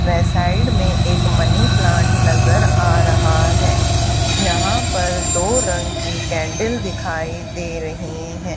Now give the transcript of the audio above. वे side में एक money plant नजर आ रहा है यहां पर दो रंग की कैंडल दिखाई दे रही हैं।